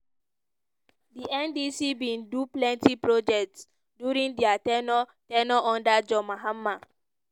di ndc bin do plenti projects during dia ten ure ten ure under john mahama.